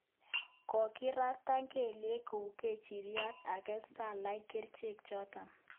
Kogirata kelyek kou kechiryet age sala kericheek choto